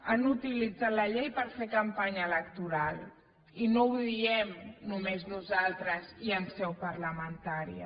han utilitzat la llei per fer campanya electoral i no ho diem només nosaltres i en seu parlamentària